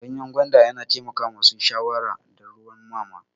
Ganyan gwanda yana taimakon masu shayarwa da ruwan mama.